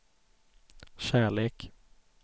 kärlek